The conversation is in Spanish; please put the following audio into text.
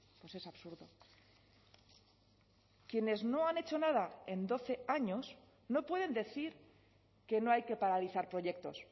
pues es absurdo quienes no han hecho nada en doce años no pueden decir que no hay que paralizar proyectos